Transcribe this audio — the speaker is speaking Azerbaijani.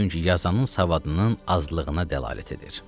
Çünki yazanın savadının azlığına dəlalət edir.